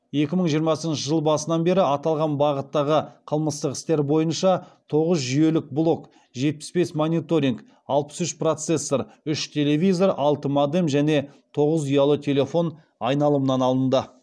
екі мың жиырмасыншы жыл басынан беру аталған бағыттағы қылмыстық істер бойынша тоғыз жүйелік блок жетпіс бес мониторинг алпыс үш процессор үш телевизор алты модем және тоғыз ұялы телефон айналымнан алынды